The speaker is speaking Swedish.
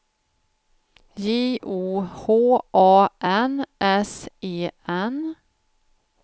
J O H A N S E N